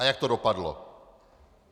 A jak to dopadlo.